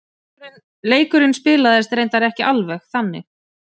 Leikurinn spilaðist reyndar ekki alveg þannig.